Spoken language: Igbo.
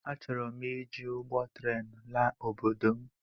Achọrọm iji ụgbọ tren laa obodo m